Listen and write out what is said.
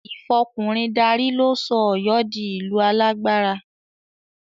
Ìfọkùnrin darí ló sọ Ọ̀yọ́ di ìlú alágbára